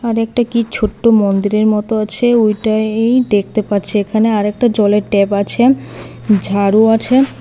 আরেকটা কি ছোট্ট মন্দিরের মতো আছে ওইটাই দেখতে পাচ্ছি এখানে আরেকটা জলের ট্যাব আছে ঝাড়ু আছে।